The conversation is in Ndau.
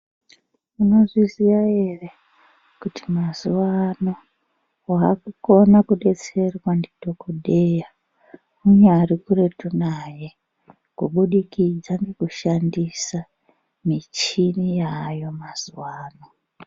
Munozviziya ere kuti mazuwa ano waakukona kudetserwa ndidhokodheya unyari kuretu naye, kubudikidza ngekushandisa michini yaayo mazuwa ano?